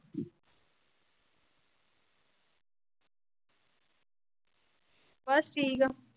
ਬਸ ਠੀਕ ਆ।